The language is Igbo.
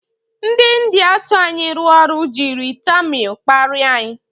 Ndị India so anyị rụọ ọrụ jiri tamịl kparia anyị.